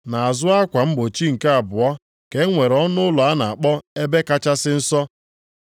Nʼazụ akwa mgbochi nke abụọ ka e nwere ọnụụlọ a na-akpọ Ebe Kachasị Nsọ,